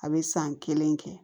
A bɛ san kelen kɛ